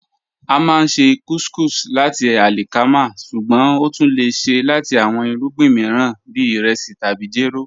A máá n ṣè couscous lati alikama, ṣùgbọ́n o tún lẹ̀ ṣè lati awọn irugbin miiran bí iresi tabi jẹ́rò